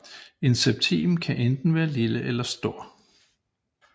En septim kan enten være lille eller stor